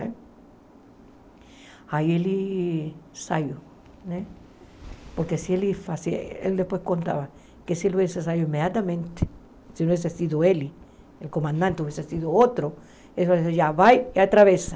Aí ele saiu, né porque se ele fazia, ele depois contava que se ele tivesse saído imediatamente, se não tivesse sido ele, o comandante, ou tivesse sido outro, ele já vai e atravessa.